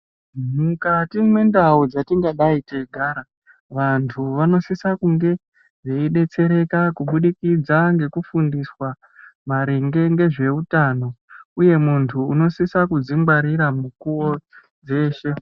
Mukati mwendau dzatingadai teigara vantu vanosisa kunge veidetsereka kubudikidza ngekufundiswa maringe ngezveutano uye muntu unosisa kudzingwarira mukuwo weshe.